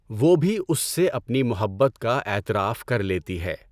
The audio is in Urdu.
وہ بھی اس سے اپنی محبت کا اعتراف کر لیتی ہے۔